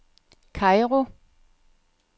Kairo